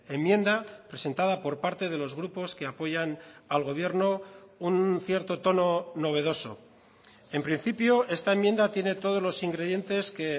enmienda presentada por parte de los grupos que apoyan al gobierno un cierto tono novedoso en principio esta enmienda tiene todos los ingredientes que